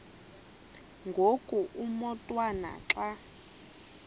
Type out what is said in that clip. ngoku umotwana xa